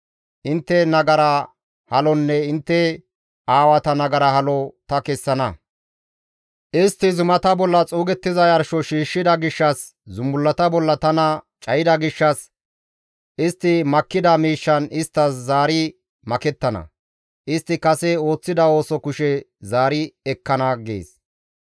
Intte nagara halonne intte aawata nagara halo ta kessana. Istti zumata bolla xuugettiza yarsho shiishshida gishshas, zumbullata bolla tana cayida gishshas, istti makkida miishshan isttas zaari makettana; istti kase ooththida ooso kushe zaari ekkana» gees.